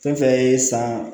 Fɛn fɛn ye san